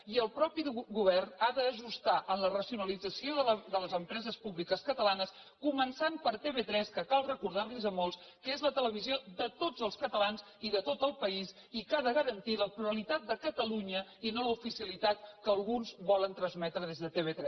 i el mateix govern ha d’ajustar en la racionalització de les empreses públiques catalanes començant per tv3 que cal recordar a molts que és la televisió de tots els catalans i de tot el país i que ha de garantir la pluralitat de catalunya i no l’oficialitat que alguns volen transmetre des de tv3